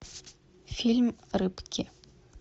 фильм рыбки